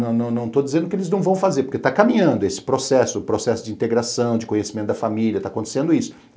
não não estou dizendo que eles não vão fazer, porque está caminhando esse processo, processo de integração, de conhecimento da família, está acontecendo isso.